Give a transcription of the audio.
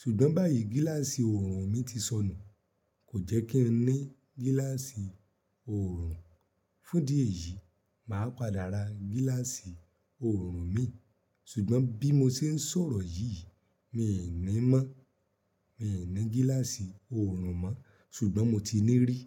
ṣùgbọ́n báyìí gíláàsì oòrùn mi ti sọnù. Kò jẹ́ kí n ní gíláàsì oòrùn fún idí ẹ̀yìí, màá pàdà rà gíláàsì oòrùn mi ṣùgbọ́n bí mo ṣe ń sọ̀rọ̀ yìí mi i ní mọ́. Mi i ní gíláàsì oòrùn mọ́ ṣùgbọ́n mo ti ní rí.